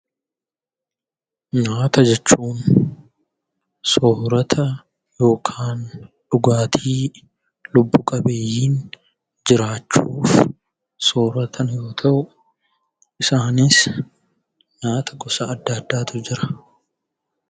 Nyaata jechuun soorata yookiin dhugaatii lubbu qabeeyyiin jiraachuuf sooraatan yoo ta'u; isaannis nyaata gosa addaa addaatu jira.